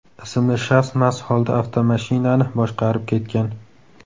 ismli shaxs mast holda avtomashinani boshqarib ketgan.